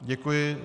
Děkuji.